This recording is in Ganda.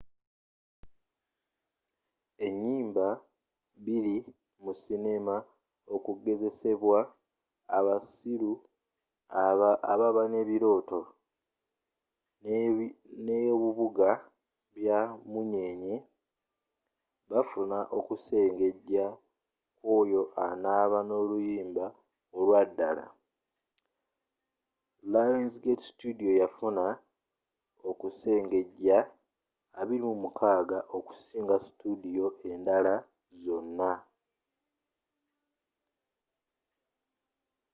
enyimba bbiri mu sineema okugezesebwa abasiru ababa ne birooto n’ebubuga bye munyenye bafuna okusengeja kw’oyo anaba n’oluyimba olwa ddala. lionsgate studio yafuna okusengeja 26 okusinga studio endala zonna